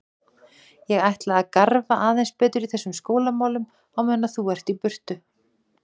Ég ætla að garfa aðeins betur í þessum skólamálum á meðan þú ert í burtu.